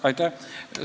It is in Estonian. Aitäh!